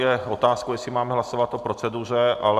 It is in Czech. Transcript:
Je otázkou, jestli máme hlasovat o proceduře, ale...